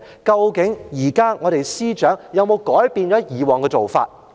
究竟現任司長有否改變以往的做法？